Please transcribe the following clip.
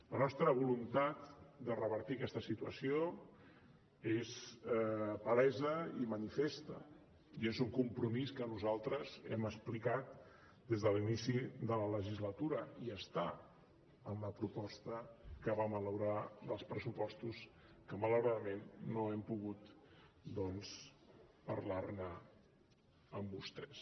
la nostra voluntat de revertir aquesta situació és palesa i manifesta i és un compromís que nosaltres hem explicat des de l’inici de la legislatura i està en la proposta que vam elaborar dels pressupostos que malauradament no hem pogut doncs parlar ne amb vostès